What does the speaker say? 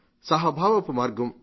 సహభావపు మార్గం